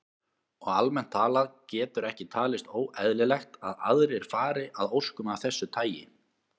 Og almennt talað getur ekki talist óeðlilegt að aðrir fari að óskum af þessu tagi.